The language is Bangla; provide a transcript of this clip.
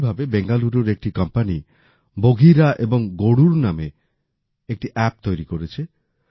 একইভাবে বেঙ্গালুরুর একটি কোম্পানি বঘিরা এবং গরুড় নামে একটি অ্যাপ তৈরি করেছে